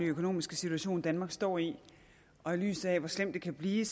økonomiske situation danmark står i og i lyset af hvor slemt det kan blive